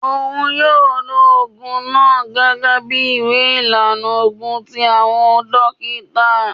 Oun yoo lo oogun naa gẹgẹbi iwe ilana oogun ti awọn dokita.